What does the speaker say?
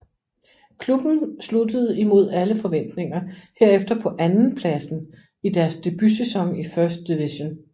Klubben sluttede imod alle forventninger herefter på andenpladsen i deres debutsæson i First Division